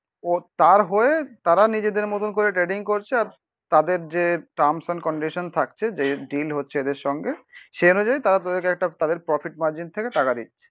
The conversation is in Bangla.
ও তার হয়ে তারা নিজেদের মতন করে ট্রেডিং করছে আর তাদের যে টার্মস এন্ড কন্ডিশন থাকছে যে ডিল হচ্ছে এদের সঙ্গে সেই অনুযায়ী তারা তাদেরকে একটা তাদের প্রফিট মার্জিন থেকে টাকা দিচ্ছে